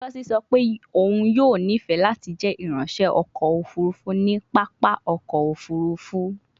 Ngozi sọ pe oun yoo nifẹ lati jẹ iranṣẹ ọkọ ofurufu ni papa ọkọ ofurufu